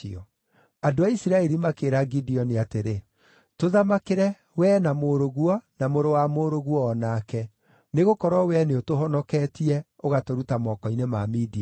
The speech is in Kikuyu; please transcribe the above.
Andũ a Isiraeli makĩĩra Gideoni atĩrĩ, “Tũthamakĩre, wee, na mũrũguo, na mũrũ wa mũrũguo o nake, nĩgũkorwo wee nĩũtũhonoketie, ũgatũruta moko-inĩ ma Midiani.”